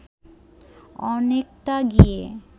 অনেকটা গিয়ে